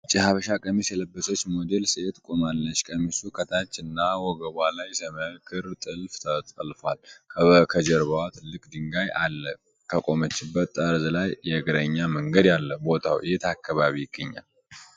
ነጭ የሀበሻ ቀሚስ የለበሰች ሞዴል ሴት ቆማለች። ቀሚሱ ከታች እና ወገቧ ላይ ሰማያዊ ክር ጥልፍ ተጠልፏል። ከጀርባዋ ትልቅ ድንጋይ አለ። ከቆመችበት ጠርዝ ላይ የእግረኛ መንገድ አለ። ቦታዉ የት አካባቢ ይገኛል?